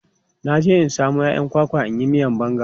Na je in samo 'ya'yan kwakwa in yi miyan banga.